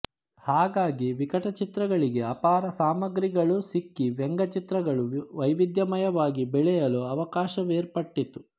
ಹಾಗಾಗಿ ವಿಕಟಚಿತ್ರಗಳಿಗೆ ಅಪಾರ ಸಾಮಗ್ರಿಗಳು ಸಿಕ್ಕಿ ವ್ಯಂಗ್ಯಚಿತ್ರಗಳು ವೈವಿಧ್ಯಮಯವಾಗಿ ಬೆಳೆಯಲು ಅವಕಾಶವೇರ್ಪಟ್ಟಿತು